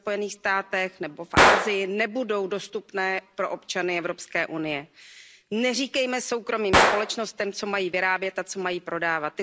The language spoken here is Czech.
ve Spojených státech amerických nebo v Asii, nebudou dostupné pro občany Evropské unie. Neříkejme soukromým společnostem, co mají vyrábět a co mají prodávat.